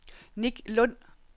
Nick Lund